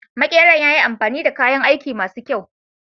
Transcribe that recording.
Makeran ya yi amfani da kayan aiki ma su kyau.